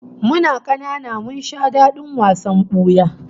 Muna kanana mun sha dadin wasan buya